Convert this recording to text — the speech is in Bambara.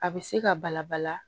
A bɛ se ka bala bala